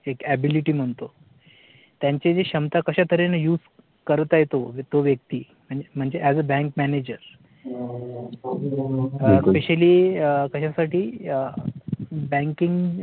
एक ability म्हणतो, त्यांची जी क्षमता कश्या तऱ्हेने use करत आहे तो तो व्यक्ती म्हणजे as a bank manager specially कश्यासाठी banking